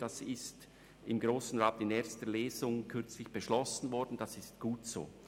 Das ist vom Grossen Rat kürzlich in erster Lesung beschlossen worden und gut so.